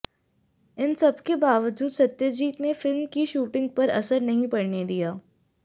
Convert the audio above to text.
इन सबके बावजूद सत्यजीत ने फिल्म की शूटिंग पर असर नहीं पड़ने दिया